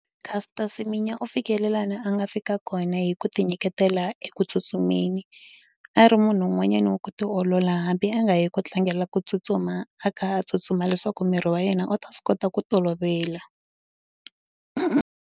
Caster Semenya u fikele na a nga fika kona hi ku tinyiketela eku tsutsumeni a ri munhu un'wanyana wa ku tiolola hambi a nga yi ku tlangela ku tsutsuma a kha a tsutsuma leswaku miri wa yena u ta swi kota ku tolovela.